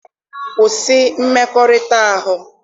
Kwụsị mmekọrịta ahụ!